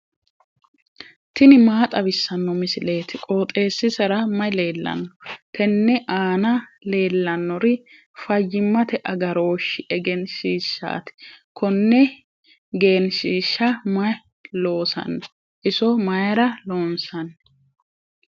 tini maa xawissanno misileeti? qooxeessisera may leellanno? tenne aana leellannori fayyimmate agarooshshi egenshiishshaati. konne genshiishsha mayi loosanno? iso mayra loonsanni?